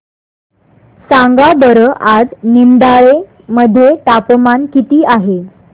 सांगा बरं आज निमडाळे मध्ये तापमान किती आहे